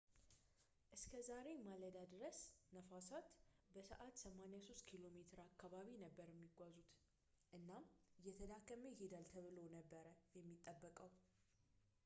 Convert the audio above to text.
እስከ ዛሬ ማለዳ ድረስ፣ ነፋሳት በሰዓት 83 ኪ.ሜ አካባቢ ነበር የሚጓዙት፣ እናም እየተዳከመ ይሄዳል ተብሎ ነበር የሚጠበቀው